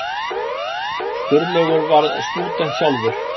Sturlaugur var stúdent sjálfur.